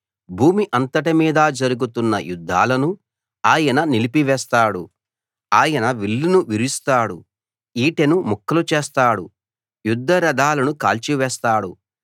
భూమి అంతటి మీదా జరుగుతున్న యుద్ధాలను ఆయన నిలిపివేస్తాడు ఆయన విల్లును విరుస్తాడు ఈటెను ముక్కలు చేస్తాడు యుద్ధ రధాలను కాల్చి వేస్తాడు